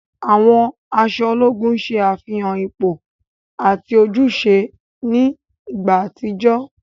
Àwọn aṣọ ológùn ṣe àfihàn ipò ati ojúṣe ni ìgbà àtijọ́.